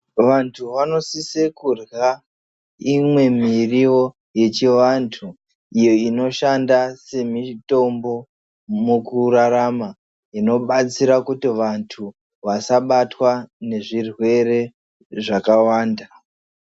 Vantu vanosise kurya imwe miriwo yechivantu iyo inoshanda semitombo mukurarama, inobatsira kuti vantu vasabatwa nezvirwere zvakawanda